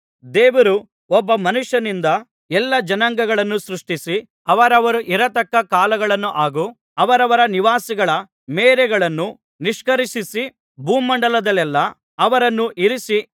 ದೇವರು ಒಬ್ಬ ಮನುಷ್ಯನಿಂದ ಎಲ್ಲಾ ಜನಾಂಗಗಳನ್ನು ಸೃಷ್ಟಿಸಿ ಅವರವರು ಇರತಕ್ಕ ಕಾಲಗಳನ್ನೂ ಹಾಗು ಅವರವರ ನಿವಾಸಗಳ ಮೇರೆಗಳನ್ನೂ ನಿಷ್ಕರ್ಷಿಸಿ ಭೂಮಂಡಲದಲ್ಲೆಲ್ಲಾ ಅವರನ್ನು ಇರಿಸಿ